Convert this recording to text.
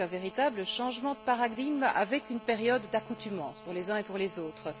C'est donc un véritable changement de paradigme, avec une période d'accoutumance pour les uns et pour les autres.